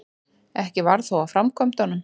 Ekki varð þó af framkvæmdum.